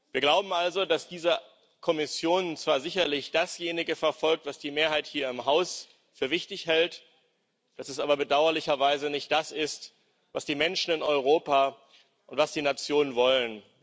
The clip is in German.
Wir glauben also, dass diese Kommission zwar sicherlich dasjenige verfolgt, was die Mehrheit hier im Haus für wichtig hält, dass das aber bedauerlicherweise nicht das ist, was die Menschen in Europa und was die Nationen wollen.